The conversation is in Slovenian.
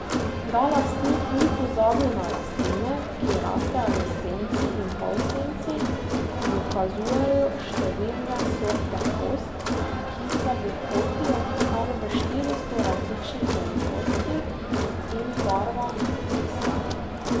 Da lastnik ni pozabil na rastline, ki rastejo v senci in polsenci, dokazujejo številne sorte host, ki se bohotijo kar v štiristo različnih velikostih in barvah listov.